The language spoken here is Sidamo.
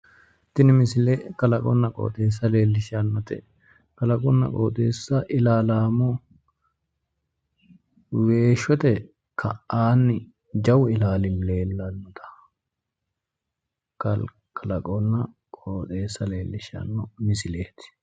tini misile kalaqonna qooxxeessa leellishshannote kalaqonna qooxxeessa ilaallammo weeshshote ka'aanni jawau ilaali leellanno kalaqonna qooxxesa leellishshanno misileeti.